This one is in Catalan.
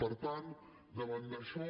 per tant davant d’això